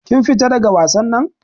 Kin fita daga wasan nan.